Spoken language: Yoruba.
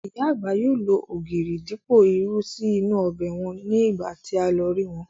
Ìyá àgbà yóò lo ògìrì dípò irú sí inú ọbẹ̀ wọn ní ìgbà tí a lọ rí wọn